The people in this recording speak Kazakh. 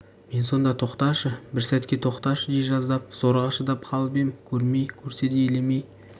мен сонда тоқташы бір сәтке тоқташы дей жаздап зорға шыдап қалып ем көрмей көрсе де елемей